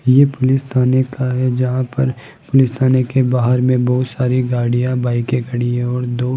यह पुलिस थाने का है जहां पर पुलिस थाने के बाहर में बहुत सारी गाड़ियां बाईकें के खड़ी हैं और दो --